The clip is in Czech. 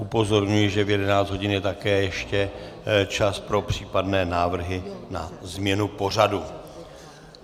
Upozorňuji, že v 11 hodin je také ještě čas pro případné návrhy na změnu pořadu.